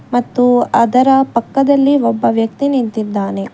ಮತ್ತು ಅದರ ಪಕ್ಕದಲ್ಲಿ ಒಬ್ಬ ವ್ಯಕ್ತಿ ನಿಂತಿದ್ದಾನೆ.